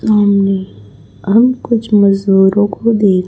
सामने हम कुछ मजदूरों को देख--